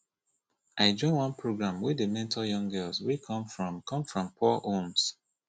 i join one program wey dey mentor young girls wey come from come from poor homes